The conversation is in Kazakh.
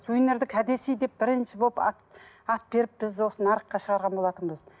сувенирді кәдесый деп бірінші болып ат ат беріп біз осы нарыққа шығарған болатынбыз